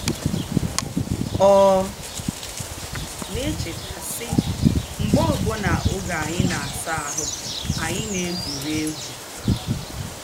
Ọ na-echeta, sị: “mgbe obụna n'oge anyị na-asa ahụ́, anyị na-egwuri egwu.